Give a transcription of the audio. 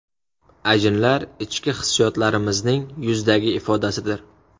Ajinlar ichki hissiyotlarimizning yuzdagi ifodasidir.